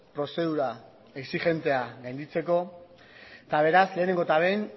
prozedura exigentea gainditzeko eta beraz lehenengo eta behin